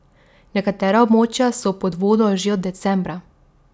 Nekatera območja so pod vodo že od decembra.